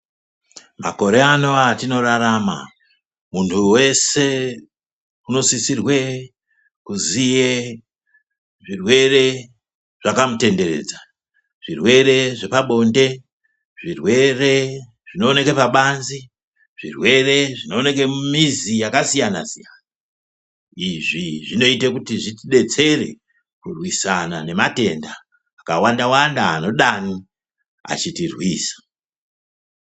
Makore ano atinorarama munhu wese unosisirwe kuziye zvirwere zvakamutenderedza zvirwere zvepabonde, zvirwere zvinooneka pabanzi, zvirwere zvinooneke mumizi yakasiyana-siyana. Izvi zvinoite kuti zvitidetsere kurwisana nematenda akawanda wanda anodani achitirwisa.